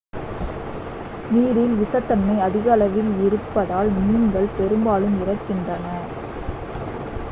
நீரில் விஷத்தன்மை அதிக அளவில் இருப்பதால் மீன்கள் பெரும்பாலும் இறக்கின்றன